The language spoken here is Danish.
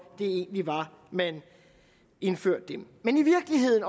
det egentlig var at man indførte dem men i virkeligheden